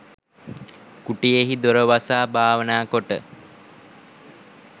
කුටියෙහි දොර වසා භාවනා කොට